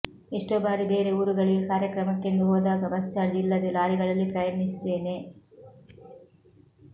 ಎಷ್ಟೋ ಬಾರಿ ಬೇರೆ ಊರುಗಳಿಗೆ ಕಾರ್ಯಕ್ರಮಕ್ಕೆಂದು ಹೋದಾಗ ಬಸ್ ಚಾರ್ಚ್ ಇಲ್ಲದೇ ಲಾರಿಗಳಲ್ಲಿ ಪ್ರಯಾಣಿಸಿದ್ದೇನೆ